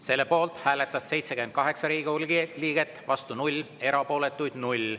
Selle poolt hääletas 78 Riigikogu liiget, vastu 0, erapooletuid 0.